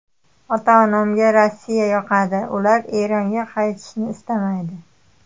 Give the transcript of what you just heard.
Ota-onamga Rossiya yoqadi, ular Eronga qaytishni istamaydi.